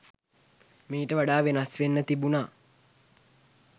මීට වඩා වෙනස් වෙන්න තිබුණා.